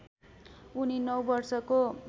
उनी नौ वर्षको